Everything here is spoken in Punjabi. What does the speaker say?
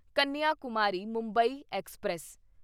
ਕੰਨਿਆਕੁਮਾਰੀ ਮੁੰਬਈ ਐਕਸਪ੍ਰੈਸ